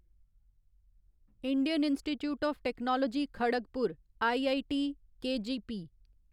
Indian Institute of Technology Kharagpur IITKGP